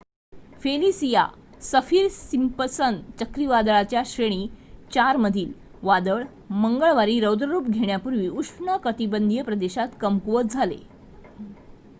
Felicia Saffir Simpson चक्रीवादळाच्या श्रेणी 4 मधील वादळ मंगळवारी रौद्ररूप घेण्यापूर्वी उष्णकटिबंधीय प्रदेशात कमकुवत झाले